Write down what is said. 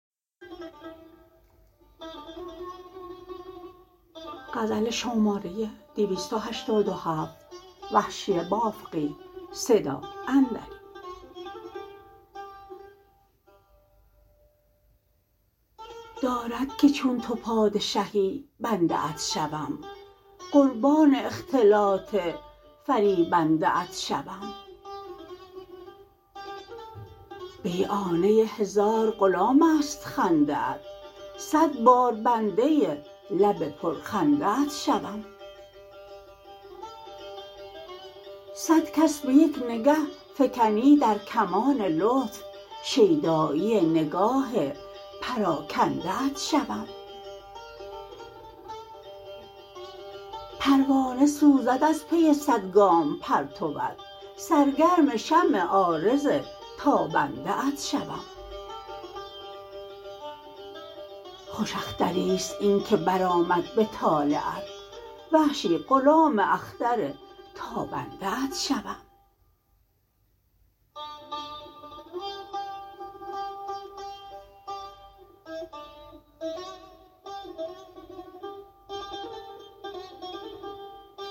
دارد که چون تو پادشهی بنده ات شوم قربان اختلاط فریبنده ات شوم بیعانه هزار غلام است خنده ات سد بار بنده لب پر خنده ات شوم سد کس به یک نگه فکنی در کمان لطف شیدایی نگاه پراکنده ات شوم پروانه سوزد از پی سد گام پرتوت سرگرم شمع عارض تابنده ات شوم خوش اختریست اینکه بر آمد به طالعت وحشی غلام اختر تابنده ات شوم